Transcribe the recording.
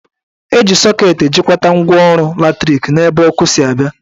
Eji sọket ejikwata ngwaọrụ latrik n'ebe ọkụ si abịa